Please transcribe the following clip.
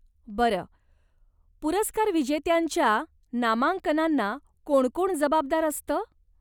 बरं, पुरस्कारविजेत्यांच्या नामांकनांना कोण कोण जबाबदार असतं?